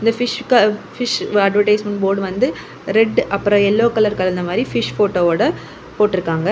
இந்த பிஷ்க்க fish advertisement board வந்து ரெட் அப்பறம் யெல்லோ கலர் கலந்த மாதிரி பிஷ் போட்டோவோட போட்டுருக்காங்க.